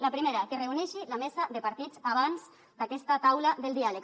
la primera que reuneixi la mesa de partits abans d’aquesta taula del diàleg